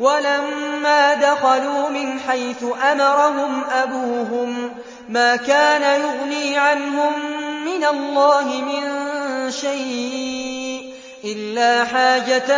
وَلَمَّا دَخَلُوا مِنْ حَيْثُ أَمَرَهُمْ أَبُوهُم مَّا كَانَ يُغْنِي عَنْهُم مِّنَ اللَّهِ مِن شَيْءٍ إِلَّا حَاجَةً